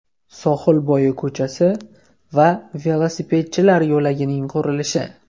Sohilbo‘yi ko‘chasi va velosipedchilar yo‘lagining qurilishi.